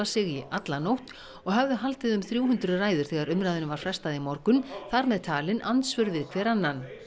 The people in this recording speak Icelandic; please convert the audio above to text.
sig í alla nótt og höfðu haldið um þrjú hundruð og ræður þegar umræðunni var frestað í morgun þar með talin andsvör við hver annan